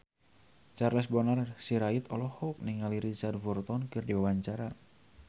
Charles Bonar Sirait olohok ningali Richard Burton keur diwawancara